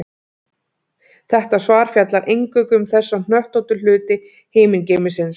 Þetta svar fjallar eingöngu um þessa hnöttóttu hluti himingeimsins.